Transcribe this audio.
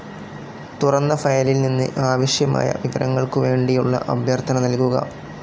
തുറന്ന ഫയലിൽ നിന്ന് ആവിശ്യമായ വിവരങ്ങൾക്കുവേണ്ടിയുള്ള അഭ്യർത്ഥന നൽകുക.